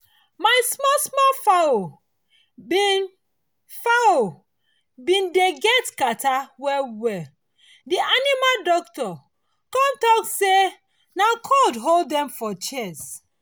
my small small fowl been fowl been dey get catarrh well well the animal doctor come talk say na cold hold dem for chest